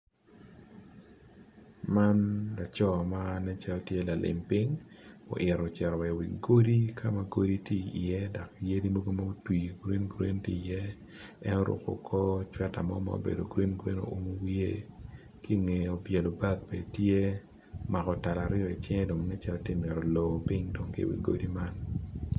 Man laco ma nen calo lalim piny oyito cito wa i wi godi kama godi tye i ye dok yadi yadi mogo otwi green green tye i ye en oruko kor cweta mo ma obedo green oumo wiye kinge obwelo bag bene tye omako tal aryo dong i cinge dong nen calo tye mito lor ping kidong godi godi man